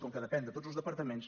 com que depèn de tots els departaments